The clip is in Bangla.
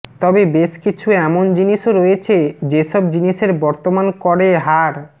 তবে বেশ কিছু এমন জিনিসও রয়েছে য়েসব জিনিসের বর্তমান করে হার